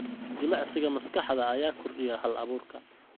Jimicsiga maskaxda ayaa kordhiya hal-abuurka.